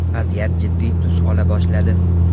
Vaziyat jiddiy tus ola boshladi.